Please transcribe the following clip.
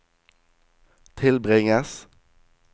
tilbringes